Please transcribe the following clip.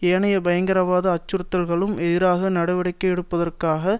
ஏனைய பயங்கரவாத அச்சுறுத்தல்களுக்கும் எதிராக நடவடிக்கை எடுப்பதற்காக